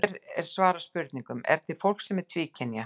Hér er svarað spurningunum: Er til fólk sem er tvíkynja?